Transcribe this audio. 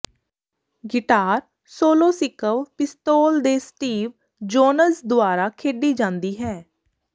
guitar solo Sex Pistols ਦੇ Steve Jones ਦੁਆਰਾ ਖੇਡੀ ਜਾਂਦੀ ਹੈ